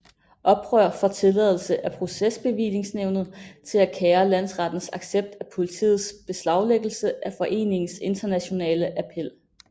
Oprør får tilladelse af procesbevillingsnævnet til at kære landsrettens accept af politiets beslaglæggelse af foreningens internationale appel